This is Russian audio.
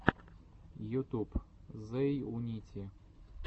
ютуб зэйунити